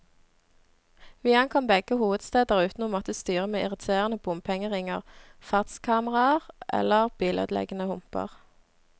Vi ankom begge hovedsteder uten å måtte styre med irriterende bompengeringer, fartskameraer eller bilødeleggende humper.